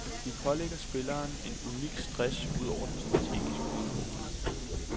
De pålægger spilleren en unik stress ud over den strategiske udfordring.